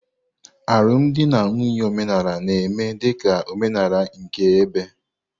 Alụmdi na nwunye omenala na-eme dị ka omenala nke ebe.